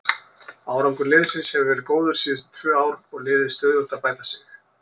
Árangur liðsins hefur verið góður síðustu tvö ár og liðið stöðugt að bæta sig.